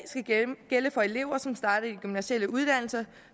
gælde for elever som starter i de gymnasiale uddannelser